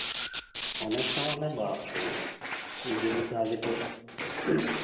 অনেকটা মানে বাপরে। দুই তিনদিন আগে তো